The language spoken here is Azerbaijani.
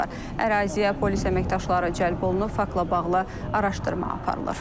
Əraziyə polis əməkdaşları cəlb olunub, faktla bağlı araşdırma aparılır.